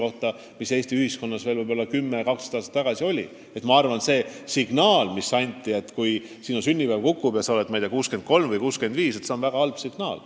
Jah, Eesti ühiskonnas veel 10–12 aastat tagasi oli see, kui sa said näiteks 63 või 65 aastat vanaks, väga halb signaal.